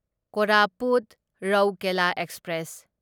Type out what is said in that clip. Koraput Rourkela express